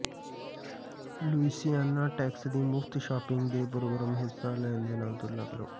Louisiana tax ਦੀ ਮੁਫਤ shopping ਦੇ ਪ੍ਰੋਗਰਾਮ ਵਿਚ ਹਿੱਸਾ ਲੈਣ ਦੇ ਨਾਲ ਤੁਲਨਾ ਕਰੋ